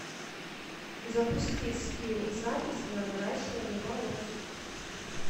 запусти скилл запись на наращивание волос